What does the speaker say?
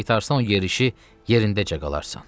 Qaytarsan o yerişi yerindəcə qalarsan.